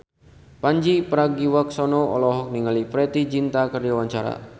Pandji Pragiwaksono olohok ningali Preity Zinta keur diwawancara